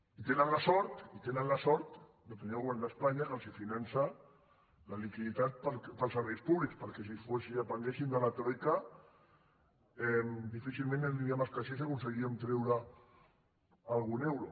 i tenen la sort i tenen la sort de tenir el govern d’espanya que els finança la liquiditat per als serveis públics perquè si depenguessin de la troica difícilment aniríem als caixers i aconseguiríem treure’n algun euro